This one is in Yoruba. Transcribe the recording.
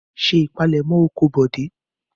Ṣé ìpalẹ́mọ́ oko Bọ̀dé!